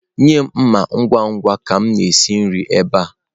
Nye m mma ngwa ngwa ka m na-esi nri ebe a!.